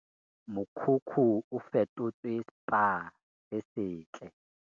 Mokhukhu o fetotswe Spa se setle